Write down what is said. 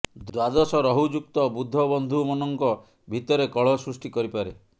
ଦ୍ୱାଦଶ ରହୁ ଯୁକ୍ତ ବୁଧ ବନ୍ଧୁ ମନଙ୍କ ଭିତରେ କଳହ ସୃଷ୍ଟି କରିପାରେ